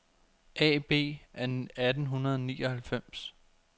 A/B af 1899